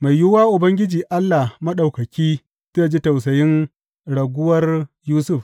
Mai yiwuwa Ubangiji Allah Maɗaukaki zai ji tausayin raguwar Yusuf.